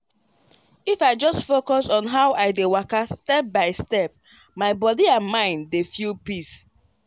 if i just dey focus on how i dey waka step by step my body and mind dey feel peace.